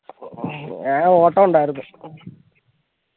ഹും ഞാൻ ഓട്ടണ്ടായർന്ന്